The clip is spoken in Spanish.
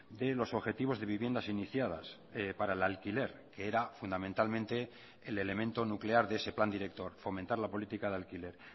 de los objetivos de viviendas iniciadas para el alquiler que era fundamentalmente el elemento nuclear de ese plan director fomentar la política de alquiler